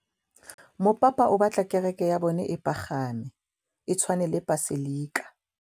Mopapa o batla kereke ya bone e pagame, e tshwane le paselika.